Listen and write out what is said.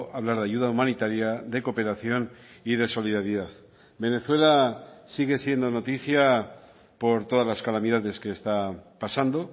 hablar de ayuda humanitaria de cooperación y de solidaridad venezuela sigue siendo noticia por todas las calamidades que está pasando